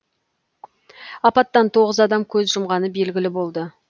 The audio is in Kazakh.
апаттан тоғыз адам көз жұмғаны белгілі болды